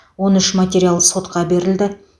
он үш материал сотқа берілді